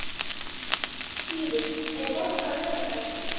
Sýrus, er bolti á laugardaginn?